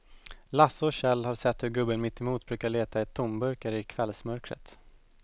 Lasse och Kjell har sett hur gubben mittemot brukar leta tomburkar i kvällsmörkret.